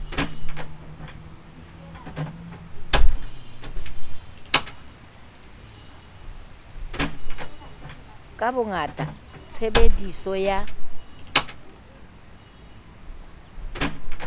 ka bongata tshebe diso ya